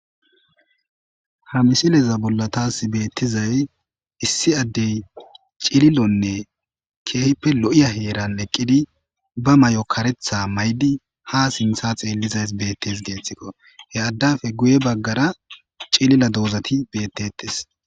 Hamisileza bollatas beettizay issi addey cililonne keehippe lo'iya heeran eqqidi bamay'o karetha maydi hasintha xeellizays beettes geeththikko headdafe guye baggara cilila doozati beettetes